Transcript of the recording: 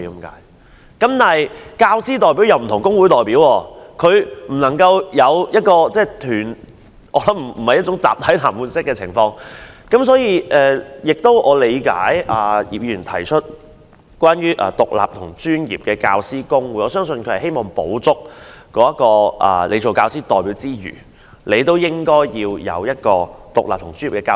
但是，教師代表有別於工會代表，他背後並無一個團體給他支援，不會有集體談判的情況，因此我理解葉議員提出要成立獨立及專業的教師公會，希望除教師代表外，亦有一個獨立的專業組織。